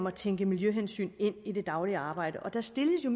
at tænke miljøhensyn ind i det daglige arbejde der stilles jo